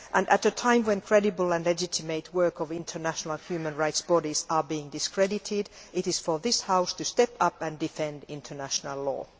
At a time when the creditable and legitimate work of international human rights bodies is being discredited, it is for this House to step up and defend international law.